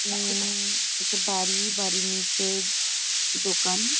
উম একটা বাড়ি বাড়ির নিচে দোকান ।